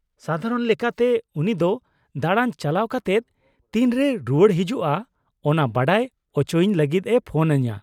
-ᱥᱟᱫᱷᱟᱨᱚᱱ ᱞᱮᱠᱟᱛᱮ ᱩᱱᱤ ᱫᱚ ᱫᱟᱲᱟᱱ ᱪᱟᱞᱟᱣ ᱠᱟᱛᱮᱫ ᱛᱤᱱᱨᱮᱭ ᱨᱩᱣᱟᱹᱲ ᱦᱤᱡᱩᱜᱼᱟ ᱚᱱᱟ ᱵᱟᱰᱟᱭ ᱚᱪᱚᱭᱤᱧ ᱞᱟᱹᱜᱤᱫ ᱮ ᱯᱷᱳᱱ ᱟᱹᱧᱟᱹ ᱾